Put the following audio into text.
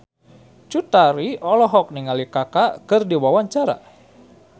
Cut Tari olohok ningali Kaka keur diwawancara